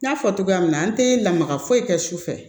N y'a fɔ cogoya min na an tɛ lamaga foyi kɛ su fɛ